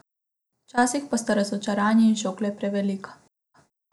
Včasih pa sta razočaranje in šok le prevelika.